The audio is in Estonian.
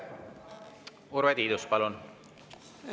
Urve Tiidus, palun!